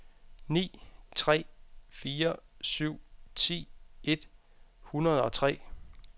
ni tre fire syv ti et hundrede og tre